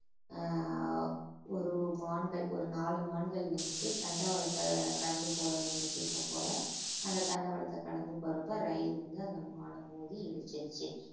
ஆஹ் ஒரு மான்கள் ஒரு நாலு மான்கள் வந்துட்டு தண்டவாளத்தை கடந்து போக நினைச்சிருக்கும் போல அந்த தண்டவாளத்தை கடந்து போறப்ப ரயில் வந்து அந்த மான மோதி இடிச்சிருச்சு